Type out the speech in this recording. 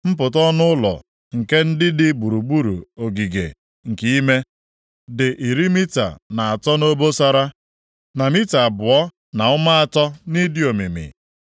Mpụta ọnụ ụlọ nke ndị dị gburugburu ogige nke ime, dị iri mita na atọ nʼobosara, na mita abụọ na ụma atọ nʼịdị omimi.